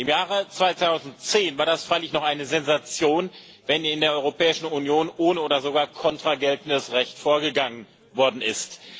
Im Jahr 2010 war das freilich noch eine Sensation, wenn in der Europäischen Union ohne oder sogar contra geltendes Recht vorgegangen worden ist.